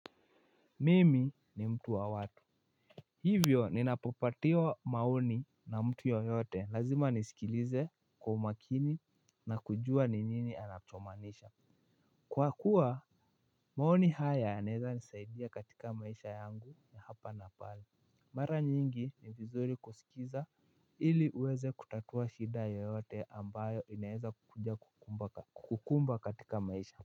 Mimi ni mtu wa watu. Hivyo ninapopatiwa maoni na mtu yoyote lazima nisikilize kwa umakini na kujua ni nini anachomaanisha kwa kuwa maoni haya yanaweza nisaidia katika maisha yangu ya hapa na pale. Mara nyingi ni vizuri kusikiza ili uweze kutatua shida yoyote ambayo inaweza kukuja kukumba katika maisha.